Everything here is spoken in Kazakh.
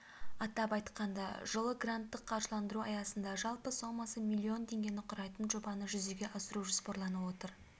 атап айтқанда жылы гранттық қаржыландыру аясында жалпы сомасы миллион теңгені құрайтын жобаны жүзеге асыру жоспарланып отыр